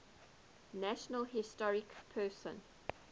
national historic persons